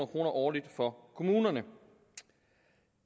kroner årligt for kommunerne